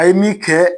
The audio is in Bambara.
A ye min kɛ